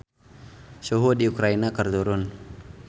Suhu di Ukraina keur turun